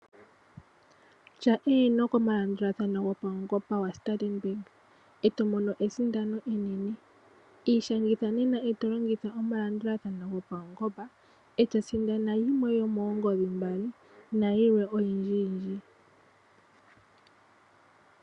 Tya eeno komalandulathano gapuangomba gaStandard Bank eto mono esindano enene. Ishangitha nena , eto longitha omalandulathano gopaungomba, eto sindana yimwe yomoongodhi mbali, nayilwe oyindjiyindji.